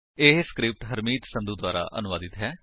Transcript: ਇਹ ਸਕਰਿਪਟ ਹਰਮੀਤ ਸੰਧੂ ਦੁਆਰਾ ਅਨੁਵਾਦਿਤ ਹੈ